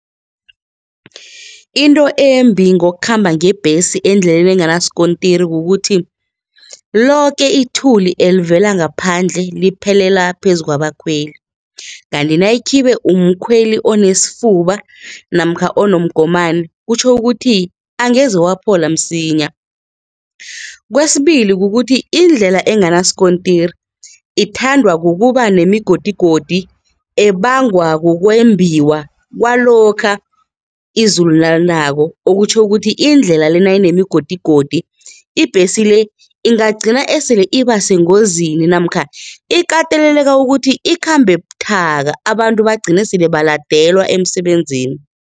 Into embi ngokukhamba ngebhesi endleleni enganasikontiri kukuthi, loke ithuli elivela ngaphandle liphelela phezukwabakhweli kanti nayikhibe umkhweli onesifuba namkha onomgomani kutjho ukuthi angeze waphola msinya, kwesibili kukuthi iindlela enganasikontiri ithandwa kukuba nemigodigodi ebangwa kukwembiwa kwalokha izulu nalinako okutjho ukuthi indlela-le nayinemigodigodi, ibhesi le ingagcina esele ibasengozini namkha ikateleleka ukuthi ikhambe buthaka abantu bagcine sele baladelwe emsebenzini.